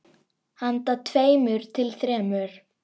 Handa tveimur til þremur